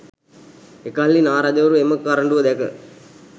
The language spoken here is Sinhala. එකල්හි නා රජවරු එම කරඬුව දැක